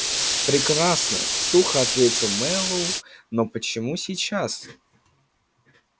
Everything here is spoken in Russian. прекрасно сухо ответил мэллоу но почему сейчас